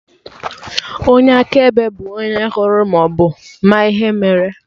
Onye akaebe bụ onye hụrụ maọbụ ma ihe mere